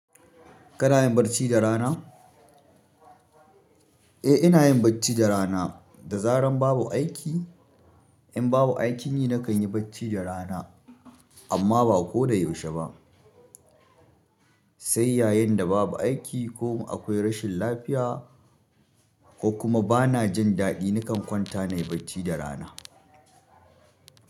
Kana yin barci da rana? Eh, ina yin bacci da rana. Da zaran babu aiki, in babu aiki yi nakan yi bacci da rana, amma ba ko da yaushe ba. Sai yayin da babu aiki ko akwai rashin lafiya ko kuma bana jin daɗi, nakan kwanta nayi bacci da rana.